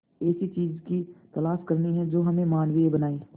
ऐसी चीजों की तलाश करनी है जो हमें मानवीय बनाएं